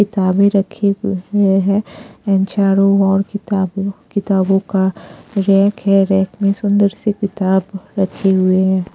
किताबें रखी है एंड चारों और किताब किताबों का रैक है रैक में सुंदर सी किताब रखे हुए हैं।